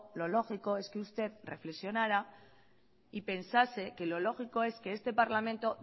lo lógico es que usted reflexionará y pensase que lo lógico es que este parlamento